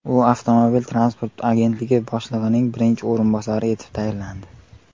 U Avtomobil transporti agentligi boshlig‘ining birinchi o‘rinbosari etib tayinlandi.